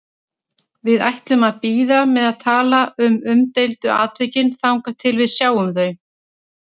Við ætlum að bíða með að tala um umdeildu atvikin þangað til við sjáum þau.